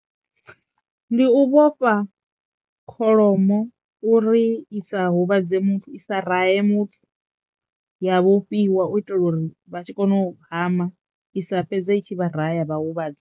Ndi u vhofha kholomo uri i sa huvhadze muthu i sa rahe muthu ya vhofhiwa u itela uri vha tshi kono u hama i sa fhedza itshi vha ra ya vha huvhadza.